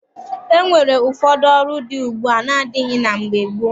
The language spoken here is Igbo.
E nwere ụfọdụ ọrụ dị ugbua na-adịghị na mgbe gboo.